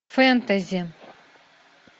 фэнтези